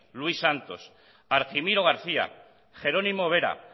luis santos argimiro garcía jerónimo vera